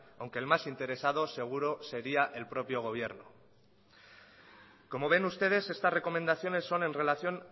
aunque el más interesado seguro sería el propio gobierno como ven ustedes esta recomendación son en relación